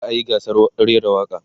za'a yi gasar rera waƙa